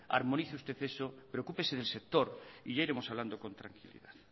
armonice usted eso preocúpese del sector y ya iremos hablando con tranquilidad